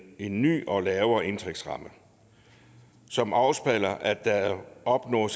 en ny og lavere indtægtsramme som afspejler at der er opnået